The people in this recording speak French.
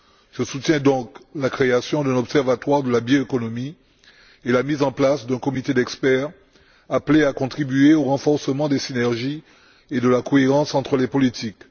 Je soutiens donc la création d'un observatoire de la bioéconomie et la mise en place d'un comité d'experts appelé à contribuer au renforcement des synergies et de la cohérence entre les politiques.